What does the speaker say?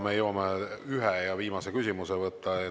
Me jõuame ühe viimase küsimuse võtta.